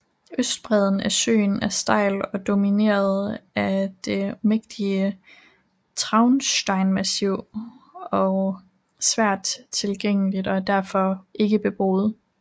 Østbreden af søen er stejl og domineret af det mægtige Traunsteinmassiv og svært tilgængelig og er derfor ikke beboet